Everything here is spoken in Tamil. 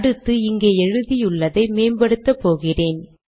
அடுத்து இங்கே எழுதியுள்ளதை மேம்படுத்தப்போகிறேன்